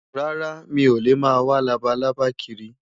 Rárá, mi ò lè máa wá labalábá kiri.